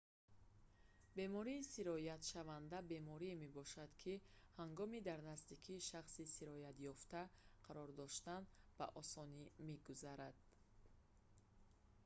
бемории сироятшаванда беморие мебошад ки ҳангоми дар наздикии шахси сироятёфта қарор доштан ба осонӣ мегузарад